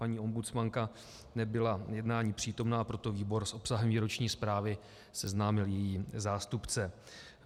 Paní ombudsmanka nebyla jednání přítomna, proto výbor s obsahem výroční zprávy seznámil její zástupce.